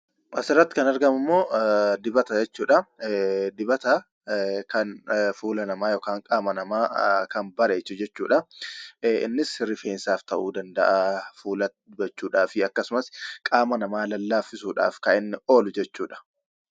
Asirratti kan argamu immoo dibata jechuudha. Dibata kan fuula namaa yookiin qaama namaa kan bareechu jechuudha. Innis rifeensaaf ta'uu danda'a fuulatti dibachuudhaa fi akkasumas qaama namaa lallaaffisuudhaaf kan inni oolu jechuudha.